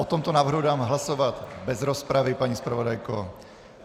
O tomto návrhu dám hlasovat bez rozpravy, paní zpravodajko.